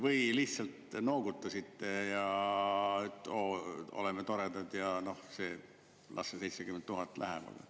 Või lihtsalt noogutasite, et jaa, oleme toredad ja las see 70 000 läheb?